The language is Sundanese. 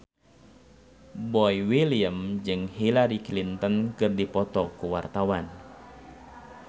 Boy William jeung Hillary Clinton keur dipoto ku wartawan